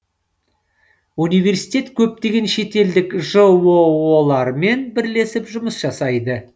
университет көптеген шетелдік жоо лармен бірлесіп жұмыс жасайды